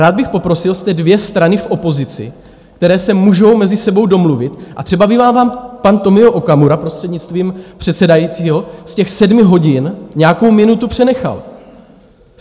Rád bych poprosil: jste dvě strany v opozici, které se můžou mezi sebou domluvit, a třeba by vám pan Tomio Okamura, prostřednictvím předsedajícího, z těch sedmi hodin nějakou minutu přenechal.